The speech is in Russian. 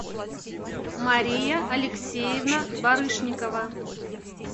мария алексеевна барышникова